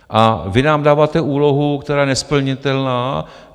A vy nám dáváte úlohu, která je nesplnitelná.